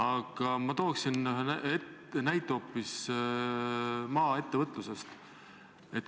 Aga ma tooksin ühe näite hoopis maaettevõtlusest.